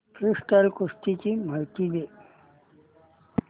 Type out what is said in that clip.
freestyle कुस्ती ची माहिती दे